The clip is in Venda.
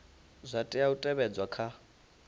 zwa tea u tevhedzwa kha